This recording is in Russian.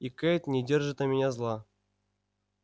и кэйд не держит на меня зла